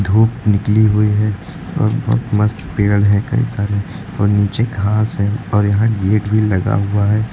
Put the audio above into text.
धूप निकली हुई है और बहोत मस्त पेड़ है कई सारे और नीचे घास है और यहां गेट भी लगा हुआ है।